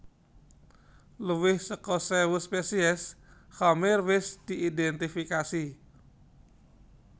Luwih saka séwu spesies khamir wis diidhèntifikasi